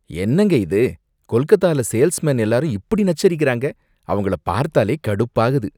என்னங்க இது! கொல்கத்தால சேல்ஸ்மென் எல்லாரும் இப்படி நச்சரிக்கறாங்க, அவங்கள பார்த்தாலே கடுப்பாகுது.